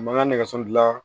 U ma n ka nɛgɛso dilan